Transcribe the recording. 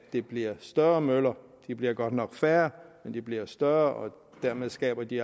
det bliver større møller de bliver godt nok færre men de bliver større og dermed skaber de